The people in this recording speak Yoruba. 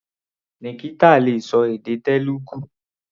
Nikita le ṣọ èdè Telugu.